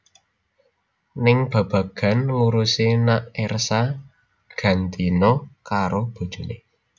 Ning babagan ngurusi nak Ersa gantina karo bojoné